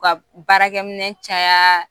U ka baarakɛminɛn caya